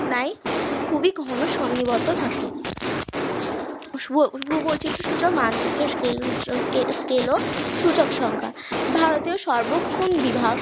খুবই ঘন সন্নিবদ্ধ থাকে ভূবৈচিত্রসূচক মানচিত্রের scale ও সূচক সংখ্যা ভারতের সর্বক্ষণ বিভাগ